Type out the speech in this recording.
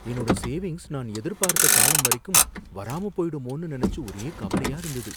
என்னோட சேவிங்ஸ் நான் எதிர்பார்த்த காலம் வரைக்கும் வராமப் போயிடுமோன்னு நனைச்சு ஒரே கவலையா இருந்தது.